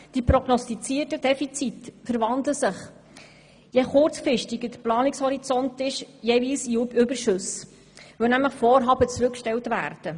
Die prognostizierten Defizite verwandeln sich, je kurzfristiger der Planungshorizont ist, jeweils in Überschüsse, weil nämlich Vorhaben zurückgestellt werden.